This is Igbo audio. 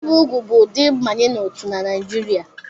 Ibi úgwù bụ ụdị mbanye n'otu na Naịjirịa